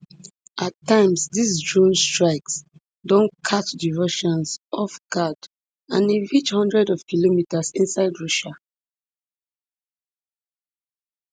at times dis drone strikes don catch di russians off guard and e reach hundreds of kilometres inside russia